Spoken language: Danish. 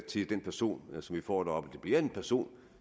til den person som vi får deroppe det bliver en person